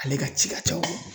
Ale ka ci ka ca o ma